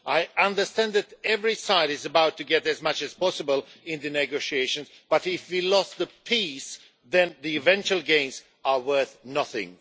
I understand that every side is out to get as much as possible in the negotiations, but if we lose the peace, then the eventual gains are worth nothing.